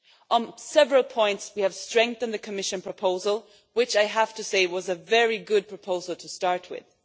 On several points we have strengthened the Commission proposal, which I have to say was a very good proposal to start with.